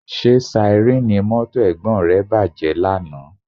Ṣé síárìn mọ́tò Ẹ̀gbọ́n rẹ bàjẹ́ lánàá?